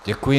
Děkuji.